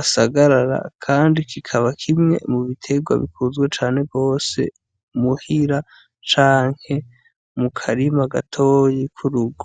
asagarara, kandi kikaba kimwe mu biterwa bikuzwe cane bose muhira canke mukarima gatoyi kurugo.